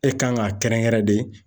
E kan k'a kɛrɛnkɛrɛn de.